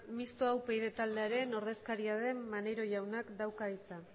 misota upyd taldearen ordezkaria den maneiro jaunak dauka hitza